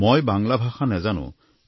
মই বাংলা ভাষা নাজানো